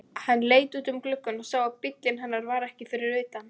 Hann leit út um gluggann og sá að bíllinn hennar var ekki fyrir utan.